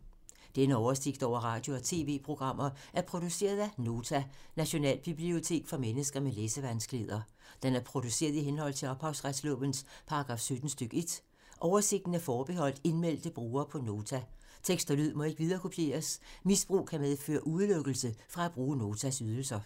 Denne oversigt over radio og TV-programmer er produceret af Nota, Nationalbibliotek for mennesker med læsevanskeligheder. Den er produceret i henhold til ophavsretslovens paragraf 17 stk. 1. Oversigten er forbeholdt indmeldte brugere på Nota. Tekst og lyd må ikke viderekopieres. Misbrug kan medføre udelukkelse fra at bruge Notas ydelser.